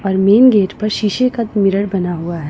और main gate पर शीशे का मिलर बना हुआ है।